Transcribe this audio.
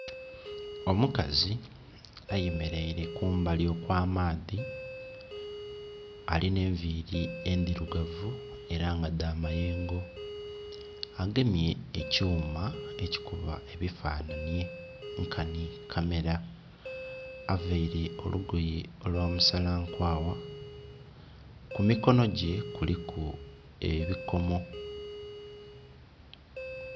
Omukazi ayemeleire kumbali okw'amaadhi, alina enviri endirugavu era nga dha mayengo. Agemye ekyuma ekikuba ebifanhanhi nkani kamera availe olugoye olwa musala nkwagha, ku mikono gye kuliku ebikomo.